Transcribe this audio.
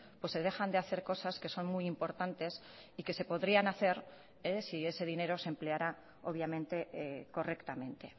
pues se dejan de hacer cosas que son muy importantes y que se podrían hacer si ese dinero se empleará obviamente correctamente